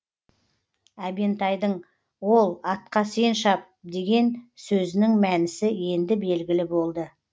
әбентайдың ол атқа сен шап деген сөзінің мәнісі енді белгілі болды